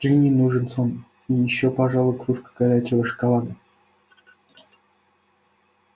джинни нужен сон и ещё пожалуй кружка горячего шоколада